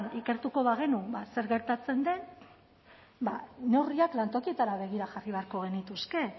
ikertuko bagenu ba zer gertatzen den ba neurriak lantokietara begira jarri beharko genituzke